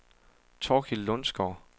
Thorkild Lundsgaard